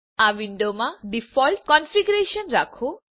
આ વિન્ડોમાં default configuration રાખો